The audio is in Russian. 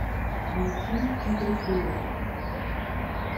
найти игры киллеров